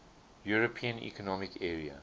european economic area